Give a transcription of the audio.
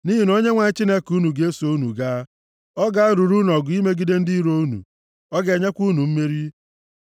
Nʼihi na Onyenwe anyị Chineke unu ga-eso unu gaa, ọ ga-alụrụ unu ọgụ imegide ndị iro unu, ọ ga-enyekwa unu mmeri.”